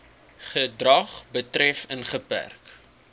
gedrag betref ingeperk